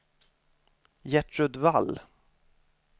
Gertrud Wall